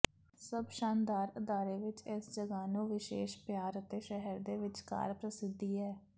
ਸਭ ਸ਼ਾਨਦਾਰ ਅਦਾਰੇ ਵਿਚ ਇਸ ਜਗ੍ਹਾ ਨੂੰ ਵਿਸ਼ੇਸ਼ ਪਿਆਰ ਅਤੇ ਸ਼ਹਿਰ ਦੇ ਵਿਚਕਾਰ ਪ੍ਰਸਿੱਧੀ ਹੈ